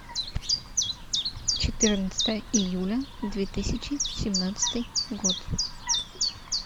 четырнадцатое июля две тысячи семнадцатый год